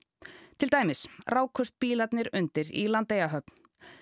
til dæmis rákust bílarnir undir í Landeyjahöfn